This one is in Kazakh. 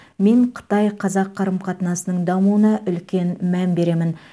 мен қытай қазақ қарым қатынасының дамуына үлкен мән беремін